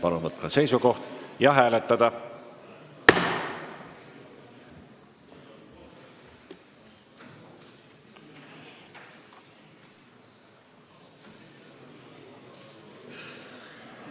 Palun võtta seisukoht ja hääletada!